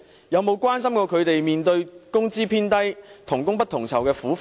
有否關心他們工資偏低、同工不同酬的苦況？